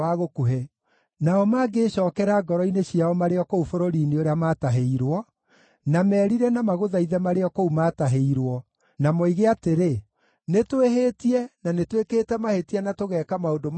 nao mangĩĩcookera ngoro-inĩ ciao marĩ o kũu bũrũri-inĩ ũrĩa maatahĩirwo, na merire, na magũthaithe marĩ o kũu maatahĩirwo, na moige atĩrĩ, ‘Nĩtwĩhĩtie, na nĩtwĩkĩte mahĩtia na tũgeka maũndũ ma waganu’;